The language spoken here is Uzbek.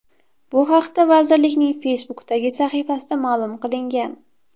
Bu haqda vazirlikning Facebook’dagi sahifasida ma’lum qilingan .